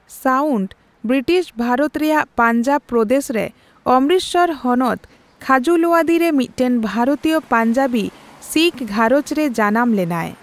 Sound British Bharat ᱨᱮᱭᱟᱜ ᱯᱟᱧᱡᱟᱵ ᱯᱨᱚᱫᱮᱥᱨᱮ ᱚᱢᱨᱤᱛᱥᱚᱨ ᱦᱚᱱᱚᱛ ᱪᱷᱟᱡᱩᱞᱳᱭᱟᱫᱤ ᱨᱮ ᱢᱤᱫᱴᱟᱝ ᱵᱷᱟᱨᱚᱛᱤᱭᱚ ᱯᱚᱧᱡᱟᱵᱤ ᱥᱤᱠᱷ ᱜᱷᱟᱨᱚᱡᱨᱮ ᱡᱟᱱᱟᱢ ᱞᱮᱱᱟᱭ ᱾